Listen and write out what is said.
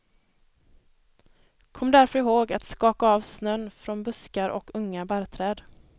Kom därför ihåg att skaka av snön från buskar och unga barrträd.